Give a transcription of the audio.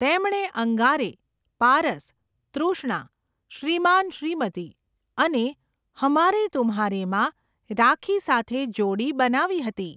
તેમણે 'અંગારે', 'પારસ', 'તૃષ્ણા', 'શ્રીમાન શ્રીમતી' અને 'હમારે તુમ્હારે'માં રાખી સાથે જોડી બનાવી હતી.